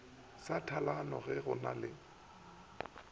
sa tlhalano ge go na